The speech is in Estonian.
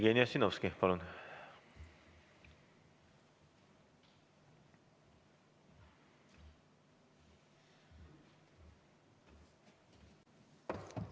Jevgeni Ossinovski, palun!